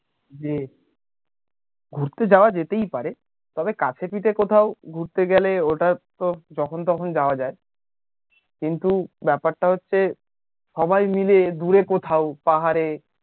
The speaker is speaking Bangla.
ঘুরতে যাওয়া যেতেই পারে তবে কাছে পিঠে কোথাও ঘুরতে গেলে ওটা তো যখন তখন যাওয়া যায় কিন্তু ব্যাপার টা হচ্ছে সবাই মিলে দূরে কোথাও পাহাড়ে